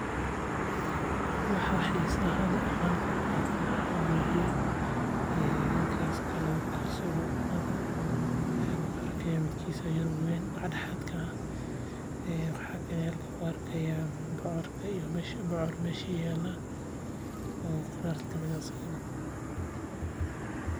Waxa xiisaha leh oo aan halkan ku arko waxaa waye gaaska cuntada kagu karsado iyo bocor meesha yaala.